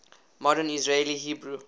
modern israeli hebrew